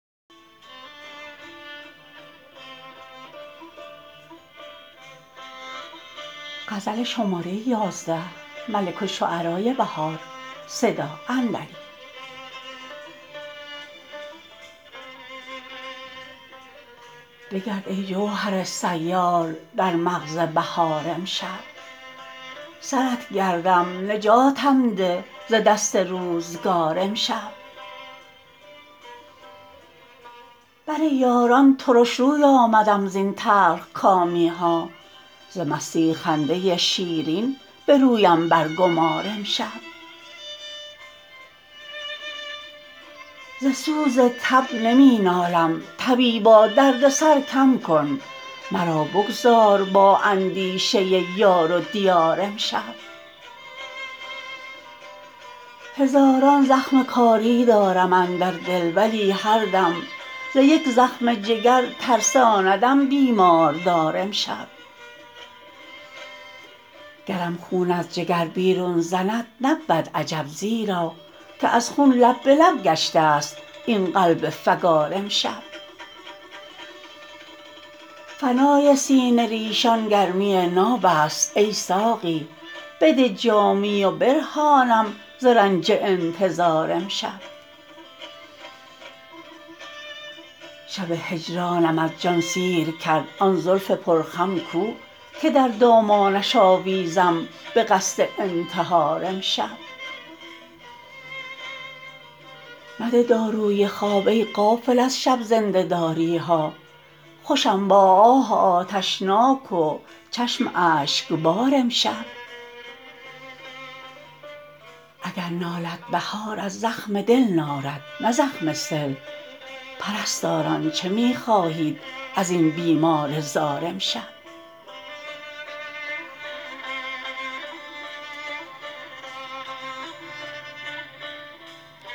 بگرد ای جوهر سیال در مغز بهار امشب سرت گردم نجاتم ده ز دست روزگار امشب بر یاران ترش روی آمدم زین تلخ کامی ها ز مستی خنده شیرین به رویم برگمار امشب ز سوز تب نمی نالم طبیبا دردسر کم کن مرا بگذار با اندیشه یار و دیار امشب هزاران زخم کاری دارم اندر دل ولی هر دم ز یک زخم جگر ترساندم بیماردار امشب گرم خون از جگر بیرون زند نبود عجب زیرا که از خون لب به لب گشته است این قلب فگار امشب فنای سینه ر یشان گرمی ناب است ای ساقی بده جامی و برهانم ز رنج انتظار امشب شب هجرانم از جان سیر کرد آن زلف پرخم کو که در دامانش آویزم به قصد انتحار امشب مده داروی خواب ای غافل از شب زنده داری ها خوشم با آه آتشناک و چشم اشکبار امشب اگر نالد بهار از زخم دل نالد نه زخم سل پرستاران چه می خواهید ازین بیمار زار امشب